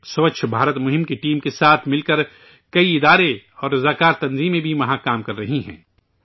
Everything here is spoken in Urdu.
سوچھ بھارت مہم کی ٹیم کے ساتھ مل کر کئی ادارے اور رضاکارتنظیمیں بھی وہاں کام کررہی ہیں